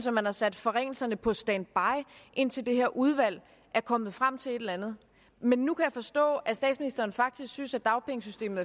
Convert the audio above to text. at man har sat forringelserne på standby indtil det her udvalg er kommet frem til et eller andet men nu kan jeg forstå at statsministeren faktisk synes at dagpengesystemet